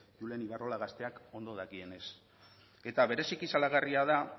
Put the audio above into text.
julen ibarrola gazteak ondo dakienez eta bereziki salagarria da